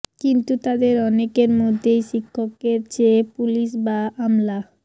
কিন্তু তাদের অনেকের মধ্যেই শিক্ষকের চেয়ে পুলিশ বা আমলা